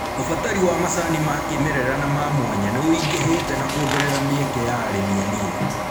Ũbatari wa macani ma kĩmerera na ma mwanya nĩũingĩhite na kuongerera mieke ya arĩmi anini